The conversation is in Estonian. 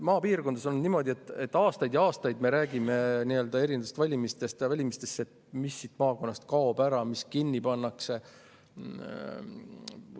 Maapiirkondades on niimoodi, et aastaid ja aastaid, valimistest valimistesse me räägime sellest, mis maakonnast ära kaob ja mis kinni pannakse.